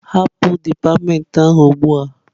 Hapụ dipatịmentị ahụ ugbu a!